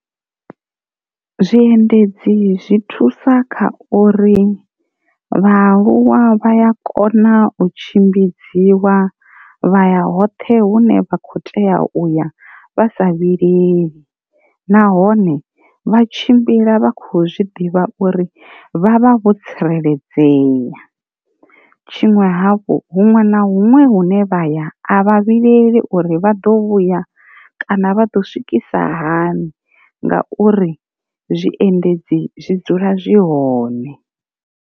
Zwi endedzi zwi thusa kha uri vhaaluwa vha ya kona u tshimbidziwa vha ya hoṱhe hune vha kho tea uya vhasa vhileli, nahone vha tshimbila vha khou zwiḓivha uri vhavha vho tsireledzeya. Tshiṅwe hafhu huṅwe na huṅwe hune vha ya avha vhileli uri vha ḓo vhuya kana vha ḓo swikisa hani nga uri zwiendedzi zwi dzula zwi hone.